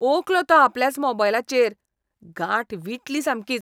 ओंकलो तो आपल्याच मोबायलाचेर. गांठ विटली सामकीच.